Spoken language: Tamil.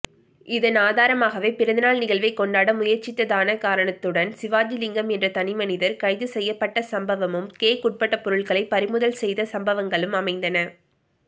இதன் ஆதாரமாகவேபிறந்தநாள் நிகழ்வை கொண்டாட முயற்சித்ததானகாரணத்துடன்சிவாஜிலிங்கம்என்ற தனிமனிதர் கைது செய்யப்பட்டசம்பவமும் கேக்உட்பட்டபொருட்களைபறிமுதல் செய்த சம்பவங்களும் அமைந்தன